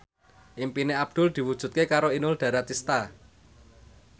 impine Abdul diwujudke karo Inul Daratista